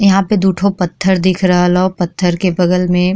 यहाँ पे दू थो पत्थर दिख रहल ह पत्थर के बगल में।